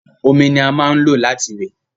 Omi ni a máa n lo láti wẹ̀